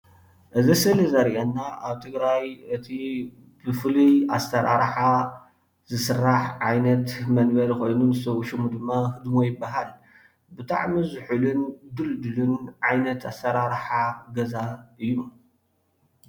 እዚ ስእሊ ዘርየና ኣብ ትግራይ እቲ ብፉሉ ኣሰራርሓ ዝስራሕ ዓይነት መንበሪ ኮይኑ ንሱ ሽሙ ድማ ህድሞ ይባሃል፡፡ ብጣዕሚ ዝሑሉን ድልዱልን ዓይነት ኣሰራርሓ ገዛ እዩ፡፡